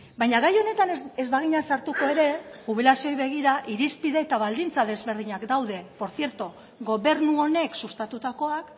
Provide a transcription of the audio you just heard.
baina gai honetan ez bagina sartuko ere jubilazioei begira irizpide eta baldintza ezberdinak daude portzierto gobernu honek sustatutakoak